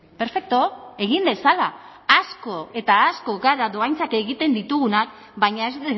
perfektu egin dezala asko eta asko gara dohaintzak egiten ditugunak baina ez